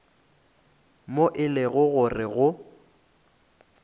moo e lego gore go